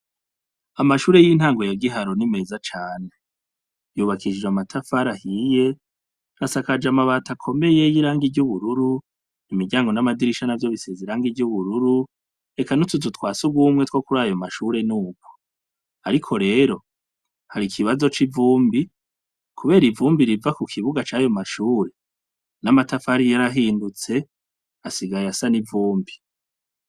Amashure y'intango ya Giharo ni meza cane. Yubakishije amatafari ahiye, asakajwe amabati akomeye y'irangi y'ubururu, imiryango n'adirisha ntavyo bisize irangi ry'ubururu, eka n'utuzu twa sugumwe two kurayo mashure nuko. Ariko rero, hari ikibazo c'ivumbi, kubera ivumbi riva ku kibuga cayo mashure, n'amatafari yarahindutse asigaye asa n'ivumbi.